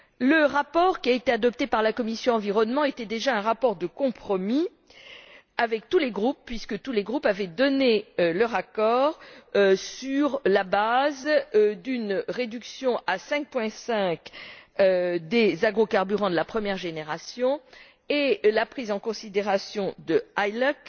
Le rapport adopté par la commission de l'environnement était déjà un rapport de compromis avec tous les groupes, puisque tous les groupes avaient donné leur accord sur la base d'une réduction à 5,5 des agrocarburants de la première génération et la prise en considération de l'ILUC